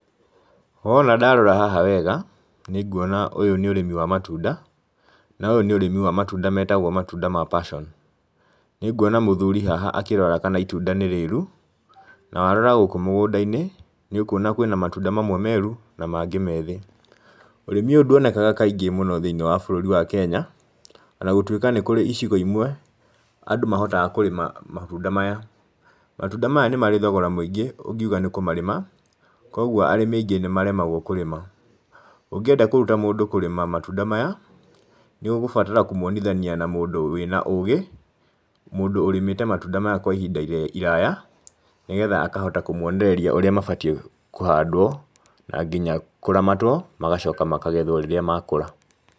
Wona ndarora haha wega, nĩ nguona ũyũ nĩ ũrĩmi wa matunda, na ũyũ nĩ ũrĩmi wa matunda metagwo matunda ma passion. Nĩnguona mũthuri haha akĩrora kana itunda nĩ rĩru, na warora gũkũ mũgũnda-inĩ, nĩ ũkuona kwĩna matunda mamwe meru na mangĩ methĩ. Ũrĩmi ũyũ nduonekaga kaingĩ mũno thĩinĩ wa bũrũri wa Kenya, ona gũtuika nĩ kũrĩ icigo imwe andũ mahotaga kũrĩma matunda maya, matunda maya nĩ marĩ thogora mũingĩ ũngiuga nĩ kũmarĩma, koguo arĩmi aingĩ nĩ maremagwo kũrĩma. Ũngĩenda kũruta mũndũ kũrĩma matunda maya, nĩ ũgũbatara kũmwonithania na mũndũ wĩna ũgĩ, mũndũ ũrĩmĩte matunda maya kwa ihinda iraya, nĩgetha akahota kũmwonereria ũrĩa mabatie kũhandwo, na nginya kũramatwo, magacoka makagethwo rĩrĩa makũra.